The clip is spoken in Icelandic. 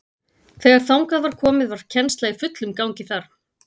Þegar þangað var komið var kennsla í fullum gangi þar.